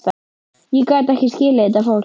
Ég gat ekki skilið þetta fólk.